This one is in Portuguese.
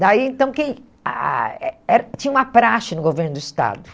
Daí, então, quem ah eh era tinha uma praxe no governo do Estado.